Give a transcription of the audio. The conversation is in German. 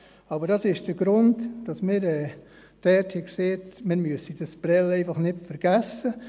Aber dies ist der Grund, weshalb wir dort gesagt haben, wir dürften Prêles einfach nicht vergessen.